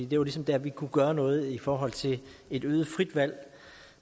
det var ligesom der vi kunne gøre noget i forhold til et øget frit valg